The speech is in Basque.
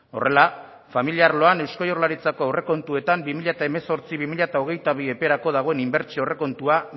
horrela familia arloan eusko jaurlaritzako aurrekontuetan bi mila hemezortzi bi mila hogeita bi eperako dagoen inbertsio aurrekontua